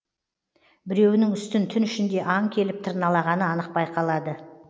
біреуінің үстін түн ішінде аң келіп тырналағаны анық байқалады